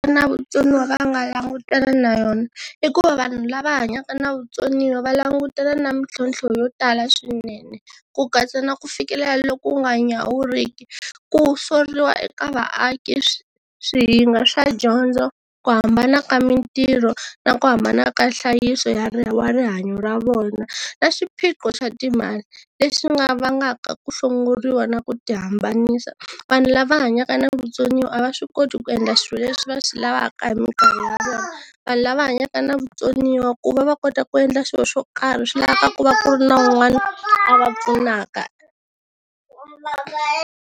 Na vutsoniwa va nga langutana na yona i ku va vanhu lava hanyaka na vutsoniwa va langutela na mintlhontlho yo tala swinene ku katsa na ku fikelela loku nga nyawuriki, ku soriwa eka vaaki, swihinga swa dyondzo, ku hambana ka mintirho na ku hambana ka nhlayiso ya wa rihanyo ra vona na xiphiqo xa timali, leswi nga vangaka ku hlongoriwa na ku tihambanisa. Vanhu lava hanyaka na vutsoniwa a va swi koti ku endla swilo leswi va swi lavaka hi minkarhi ya vona, vanhu lava hanyaka na vutsoniwa ku va va kota ku endla xilo xo karhi swi laveka ku va ku ri na un'wana a va pfunaka.